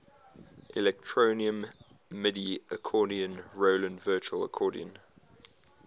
electronium midi accordion roland virtual accordion